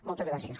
moltes gràcies